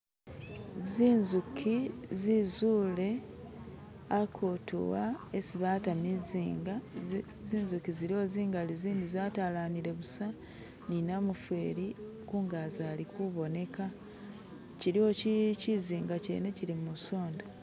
Zinzuki zizule akutu uwa isi bata mizinga zinzuki ziliwo zingali, zindi zatalanile busa ni namufeli khungazi ali kuboneka, kyiliwo kyizinga kyene kyili musonda.